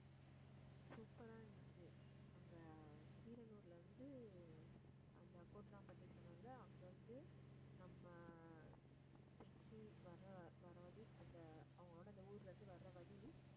super ஆ இருந்துச்சு அங்க கீரனூர்ல இருந்து, அந்த கோட்ராம்பட்டி சொன்னேன்ல அங்க இருந்து நம்ம திருச்சி வர்ற வர்ற வழி அந்த அவங்களோட அந்த ஊர்ல இருந்து, வர்ற வழி